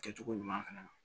Kɛcogo ɲuman fana na